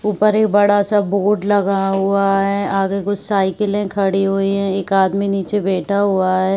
उपर एक बड़ा सा बोर्ड लगा हुआ है। आगे कुछ साइकिलें खड़ी हुई हैं। एक आदमी नीचे बैठा हुआ है।